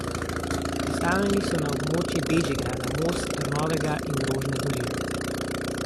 Postavljeni so na območju Bežigrada, Most, Trnovega in Rožne doline.